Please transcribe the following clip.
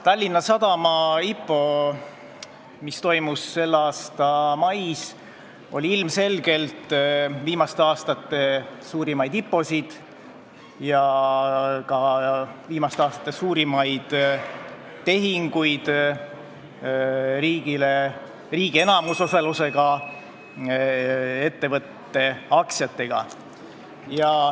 Tallinna Sadama IPO, mis toimus selle aasta mais, oli ilmselgelt viimaste aastate suurimaid IPO-sid, sh viimaste aastate suurimaid tehinguid riigi enamusosalusega ettevõtte aktsiatega.